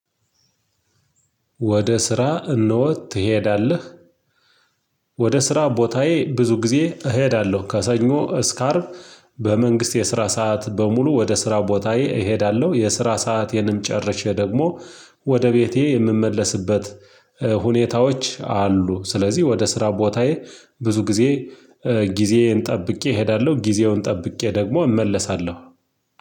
ወደ ስራ እነሆ ትሄዳለህ? ወደ ስራ ቦታዬ ብዙ ጊዜ እሄዳለሁ ከሰኞ እስከ አርብ በመንግስት የስራ ሰዓት በሙሉ ወደ ስራ ቦታዬ እሄዳለሁ የስራ ሰአቴንም ጨርሼ ደግሞ ወደ ቤቴ የምመለስበት ሁኔታዎች አሉ ስለዚህ ወደ ስራ ቦታዬ ብዙ ጊዜ ጊዜዬን ጠብቄ እሄዳለሁ ጊዜውን ጠብቄ ደግሞ እመለሳለሁ